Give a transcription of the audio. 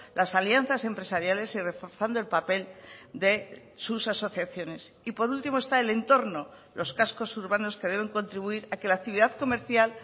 las alianzas empresariales y reforzando el papel de sus asociaciones y por último está el entorno los cascos urbanos que deben contribuir a que la actividad comercial